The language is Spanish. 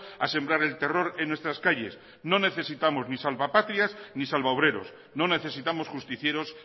a sembrar el terror en nuestras calles no necesitamos ni salvapatrias ni salvaobreros no necesitamos justicieros